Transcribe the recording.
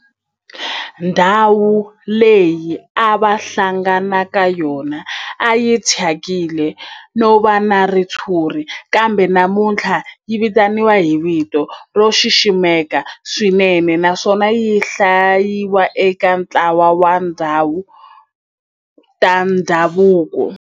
Ndhawu leyi a va hlangana ka yona a yi thyakile no va na ritshuri kambe namuntlha yi vitaniwa hi vito ro xiximeka swinene naswona yi hlayiwa eka ntlawa wa tindhawu ta ndhavuko.